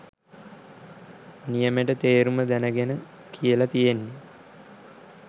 නියමෙට තේරුම දැනගෙන කියල තියෙන්නෙ.